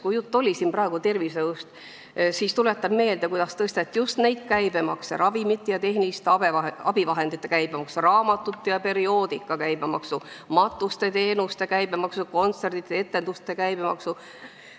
Kui jutt oli siin praegu tervishoiust, siis tuletan meelde, kuidas tõsteti just neid käibemakse – ravimite ja tehniliste abivahendite käibemaksu, raamatute ja perioodika käibemaksu, matuseteenuste käibemaksu, kontsertide ja etenduste käibemaksu.